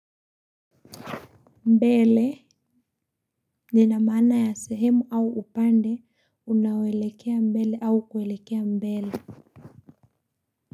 Mbele nina maana ya sehemu au upande unaoelekea mbele au kuelekea mbele.